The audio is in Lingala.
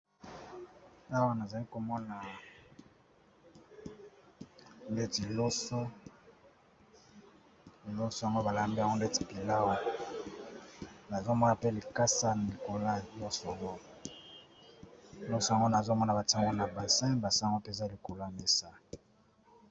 Awa nazali komona ndeti loliloso yango balambi ondet pillaw nazomona mpe likasa mikola nyosongo loso yango nazomona batango na basin basango te eza likol ya mesa.